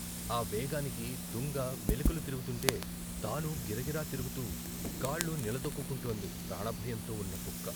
ఆ వేగానికి దుంగ మెలికలు తిరుగుతుంటే తానూ గిరగిర తిరుగుతూ కాళ్ళు నిల దొక్కుకుంటోంది ప్రాణభయంతో ఉన్న కుక్క.